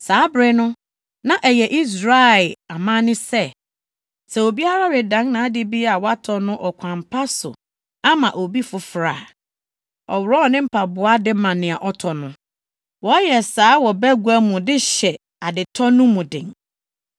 Saa bere no, na ɛyɛ Israel amanne sɛ, sɛ obiara redan nʼade bi a watɔ no ɔkwan pa so ama obi foforo a, ɔworɔw ne mpaboa de ma nea ɔtɔ no. Wɔyɛ saa wɔ bagua mu de hyɛ adetɔ no mu den.